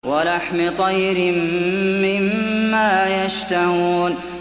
وَلَحْمِ طَيْرٍ مِّمَّا يَشْتَهُونَ